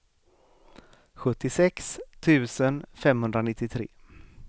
sjuttiosex tusen femhundranittiotre